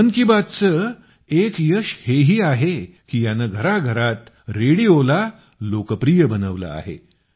मन की बातचं एक यश हेही आहे की याने घराघरात रेडिओला लोकप्रिय बनवलं आहे